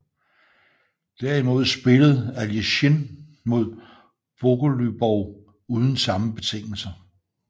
Derimod spillede Aljechin mod Bogoljubov uden samme betingelser